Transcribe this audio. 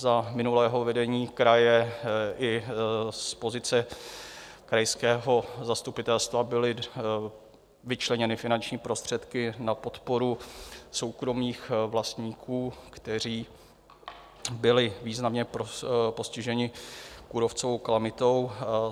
Za minulého vedení kraje i z pozice krajského zastupitelstva byly vyčleněny finanční prostředky na podporu soukromých vlastníků, kteří byli významně postiženi kůrovcovou kalamitou.